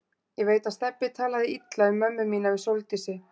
Ég veit að Stebbi talaði illa um mömmu mína við Sóldísi.